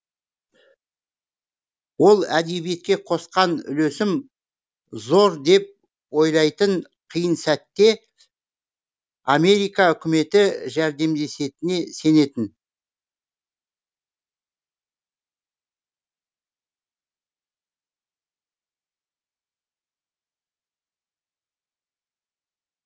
ол әдебиетке қосқан үлесім зор деп ойлайтын қиын сәтте америка үкіметі жәрдемдесетініне сенетін